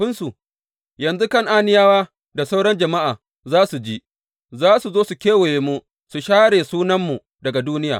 Yanzu Kan’aniyawa da sauran jama’a za su ji, za su zo su kewaye mu su share sunanmu daga duniya.